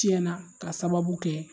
Tiɲɛna ka sababu kɛ.